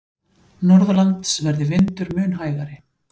Norðanlands verði vindur mun hægari